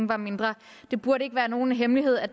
var mindre det burde ikke være nogen hemmelighed at